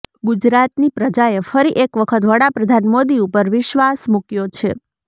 ગુજરાતની પ્રજાએ ફરી એક વખત વડાપ્રધાન મોદી ઉપર વિશ્વાસ મુક્યો છે